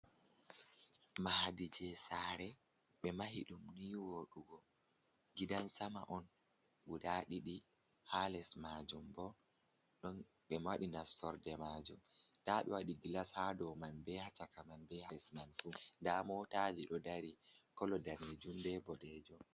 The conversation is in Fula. Maadiji sare be mahi ɗum ni woɗugo, gidan sama on guda ɗiɗi, ha les majum bo ɗon ɓe madi na sorde majum. Ndaɓe waɗi gilas hadow man be hacaka man, be hales man fu. Nda motaji ɗo dari kolo danejum be boɗejom.